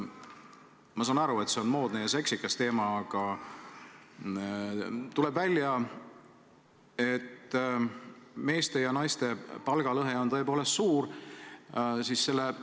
Ma saan aru, et see on moodne ja seksikas teema, aga tuleb välja, et meeste ja naiste palgas on lõhe tõepoolest suur.